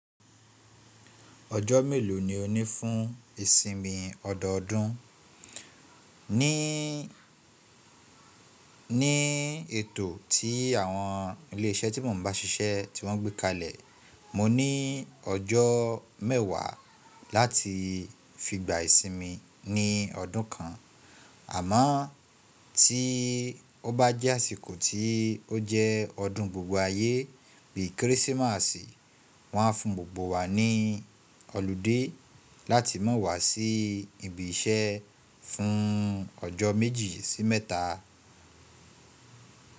Ojo melo ni o ni fun isinmi òdò ó dùn? Ni, ni eto ti awon ile ise ti mo n ba sise ti won gbe kalẹ, mo ni ojo mewa lati figba isinmi ni ọdun kan. Amo ti o ba jẹ asiko ti o jẹ ọdun gbogbo aye bi Krisimasi, wọn a fun gbogbo wa ni olude lati ma wa si ibi ise fun ọjọ meji si mẹta.